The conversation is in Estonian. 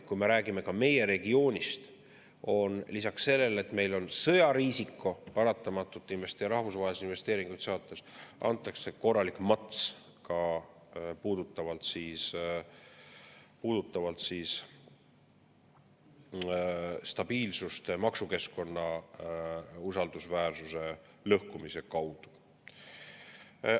Kui me räägime meie regioonist, antakse lisaks sellele, et meil on paratamatult sõjariisiko investeeringuid ja rahvusvahelisi investeeringuid saades, korralik mats ka stabiilsusele maksukeskkonna usaldusväärsuse lõhkumise tõttu.